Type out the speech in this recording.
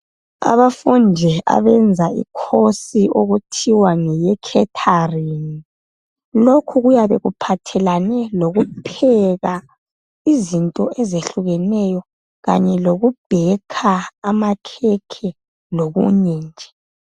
Abafundi abenza ikhosi okuthiwa ngeye khetharingi lokhu kuyabe kuphathelane lokupheka izinto ezehlukeneyo Kanye lokubhekha amakhekhe lokunye nje .